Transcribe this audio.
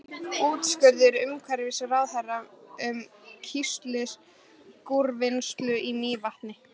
Úrskurður umhverfisráðherra um kísilgúrvinnslu í Mývatni.